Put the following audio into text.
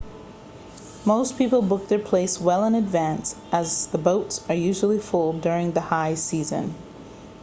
most people book their place well in advance as the boats are usually full during the high season